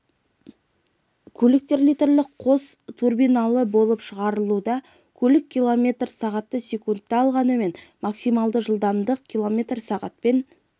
жаңа көліктер литрлік қос турбиналы болып шығарылуда көлік км сағатты секундта алғанымен максималды жылдамдық км сағатпен